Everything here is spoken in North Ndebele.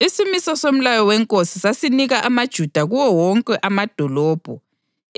Isimiso somlayo wenkosi sasinika amaJuda kuwo wonke amadolobho